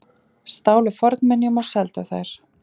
Stálu fornminjum og seldu þær